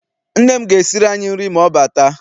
Nne m ga esiri anyị nri ma ọ bata.